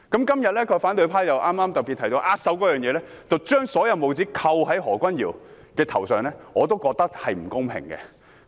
今天反對派提到握手一事，將帽子扣在何君堯議員的頭上，我認為並不公平。